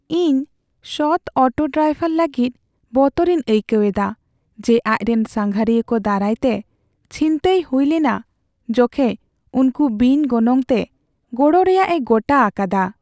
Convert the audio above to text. ᱤᱧ ᱥᱚᱛ ᱚᱴᱚ ᱰᱨᱟᱭᱵᱷᱟᱨ ᱞᱟᱹᱜᱤᱫ ᱵᱚᱛᱚᱨᱤᱧ ᱟᱹᱭᱠᱟᱹᱣ ᱮᱫᱟ ᱡᱮ ᱟᱡᱨᱮᱱ ᱥᱟᱸᱜᱷᱟᱨᱤᱭᱟᱹ ᱠᱚ ᱫᱟᱨᱟᱭᱛᱮ ᱪᱷᱤᱱᱛᱟᱹᱭ ᱦᱩᱭ ᱞᱮᱱᱟ ᱡᱚᱠᱷᱮᱡ ᱩᱱᱠᱩ ᱵᱤᱱ ᱜᱚᱱᱚᱝᱛᱮ ᱜᱚᱲᱚ ᱨᱮᱭᱟᱜᱼᱮ ᱜᱚᱴᱟ ᱟᱠᱟᱫᱟ ᱾